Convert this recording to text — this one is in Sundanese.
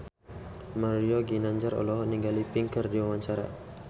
Mario Ginanjar olohok ningali Pink keur diwawancara